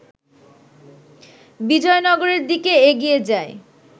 বিজয়নগরের দিকে এগিয়ে যায়